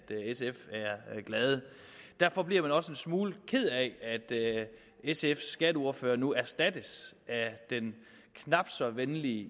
glade derfor bliver man også en smule ked af at sfs skatteordfører nu erstattes af den knap så venlige